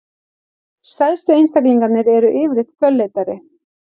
Stærstu einstaklingarnir eru yfirleitt fölleitari.